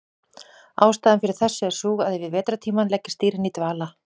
Ástæðan fyrir þessu er sú að yfir vetrartímann leggjast dýrin í dvala.